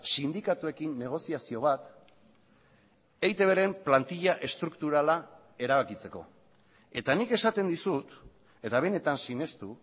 sindikatuekin negoziazio bat eitbren plantilla estrukturala erabakitzeko eta nik esaten dizut eta benetan sinestu